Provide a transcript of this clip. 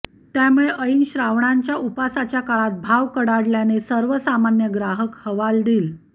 त्यामुळे ऐन श्रावणांच्या उपवासाच्या काळात भाव कडाडल्याने सर्वसामान्य ग्राहक हवालदिल